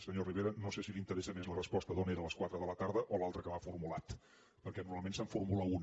senyor rivera no sé si l’interessa més la resposta d’on era a les quatre de la tarda o l’altre que m’ha formulat perquè normalment se’n formula una